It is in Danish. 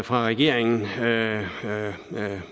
fra regeringen